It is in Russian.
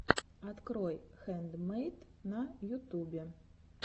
открой хэндмэйд на ютубе